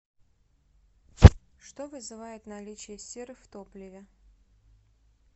что вызывает наличие серы в топливе